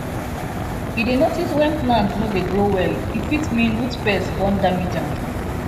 e dey notice when plant no dey grow well e fit mean root pest don damage am